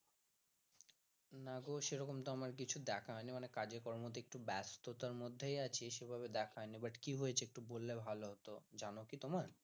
না গো সেরকম তো আমার কিছু দেখা হয়নি মানে এখন কাজে কর্ম তে কটু ব্যাস্ততার মধ্যেই আছি but কি হয়েছে একটু বললে ভালো হত যান কি তোমার?